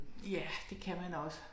Ja det kan man også